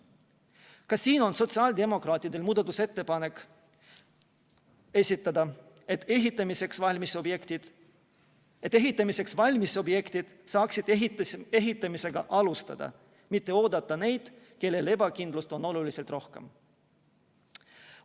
Ka siin on sotsiaaldemokraatidel muudatusettepanek, et ehitamiseks valmis objektid saaksid ehitamisega alustada, pole vaja oodata järele neid, kellel ebakindlust on oluliselt rohkem.